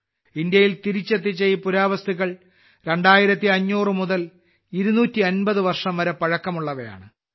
ഇന്ത്യയിൽ തിരിച്ചെത്തിച്ച ഈ പുരാവസ്തുക്കൾ 2500 മുതൽ 250 വർഷം വരെ പഴക്കമുള്ളവയാണ്